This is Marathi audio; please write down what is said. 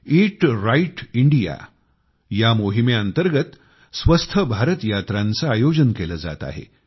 ईट राइट इंडिया मोहिमेअंतर्गत स्वस्थ भारत यात्रांचे आयोजन केले जात आहे